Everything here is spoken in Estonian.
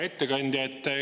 Hea ettekandja!